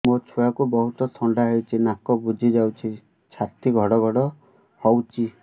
ମୋ ଛୁଆକୁ ବହୁତ ଥଣ୍ଡା ହେଇଚି ନାକ ବୁଜି ଯାଉଛି ଛାତି ଘଡ ଘଡ ହଉଚି